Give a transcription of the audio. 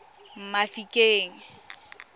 mafikeng